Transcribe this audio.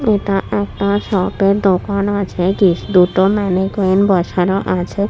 এটা একটা শপ এর দোকান আছে কি দুটো ম্যানিকুইন বসানো আছে।